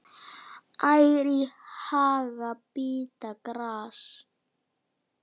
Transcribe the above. Ær í haga bíta gras.